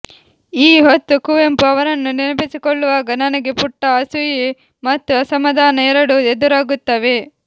ಈ ಹೊತ್ತು ಕುವೆಂಪು ಅವರನ್ನು ನೆನಪಿಸಿಕೊಳ್ಳುವಾಗ ನನಗೆ ಪುಟ್ಟ ಅಸೂಯೆ ಮತ್ತು ಅಸಮಾಧಾನ ಎರಡೂ ಎದುರಾಗುತ್ತವೆ